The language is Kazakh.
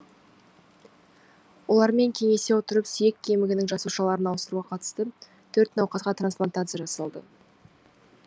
олармен кеңесе отырып сүйек кемігінің жасушаларын ауыстыруға қатысты төрт науқасқа трансплантация жасалды